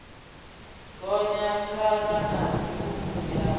gonya thavha na mivhundu ya